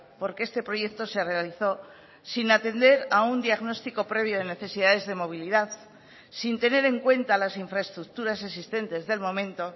porque este proyecto se realizó sin atender a un diagnóstico previo de necesidades de movilidad sin tener en cuenta las infraestructuras existentes del momento